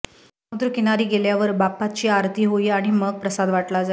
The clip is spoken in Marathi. समुद्र किनारी गेल्यावर बाप्पाची आरती होई आणि मग प्रसाद वाटला जाई